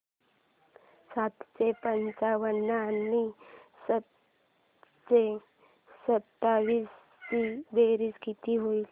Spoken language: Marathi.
सातशे पंचावन्न आणि सातशे सत्तावीस ची बेरीज किती होईल